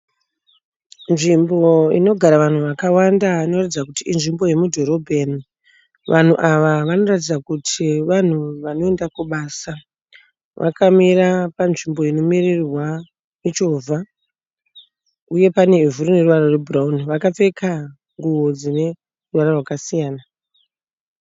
Nzvimbo inogara vanhu vakawanda inoratidza kuti inzvimbo yemudhorobheni. Vanhu ava vanoratidza kuti vanhu vanoenda kubasa. Vakamira panzvimbo inomirirwa muchovha uye panevhu rine ruvara rwebhurauni. Vakapfeka nguwo dzine ruvara rwakasiyana.